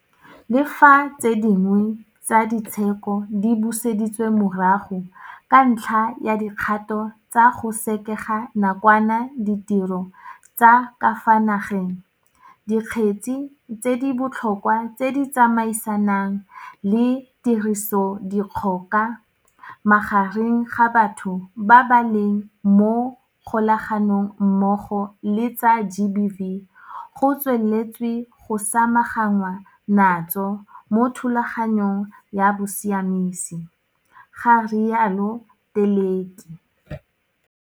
Le fa tse dingwe tsa di tsheko di buseditswe morago ka ntlha ya dikgato tsa go sekega nakwana ditiro tsa ka fa nageng, dikgetse tse di bo tlhokwa tse di tsamaisanang le tirisodikgoka magareng ga batho ba ba leng mo kgolaga nong mmogo le tsa GBV go tsweletswe go samaganwa natso mo thulaganyong ya bosiamisi, ga rialo Teleki.